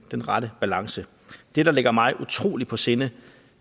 den rette balance det der ligger mig utrolig meget på sinde